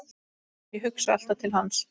Ég hugsa alltaf til hans.